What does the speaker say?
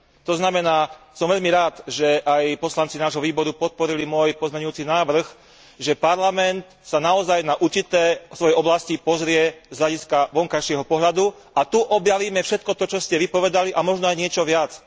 To znamená, som veľmi rád, že aj poslanci nášho výboru podporili môj pozmeňujúci návrh, že Parlament sa naozaj na určité svoje oblasti pozrie z hľadiska vonkajšieho pohľadu a tu objavíme všetko to, čo ste vy povedali, a možno aj niečo viac.